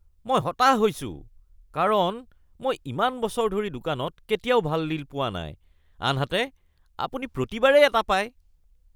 মই হতাশ হৈছোঁ কাৰণ মই ইমান বছৰ ধৰি দোকানত কেতিয়াও ভাল ডিল পোৱা নাই আনহাতে আপুনি প্ৰতিবাৰেই এটা পায়।